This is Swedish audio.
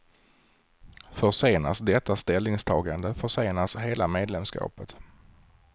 Försenas detta ställningstagande försenas hela medlemskapet.